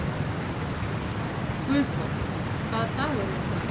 Guðþór, hvaða dagur er í dag?